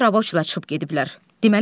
İndi də rabochidlər çıxıb gediblər.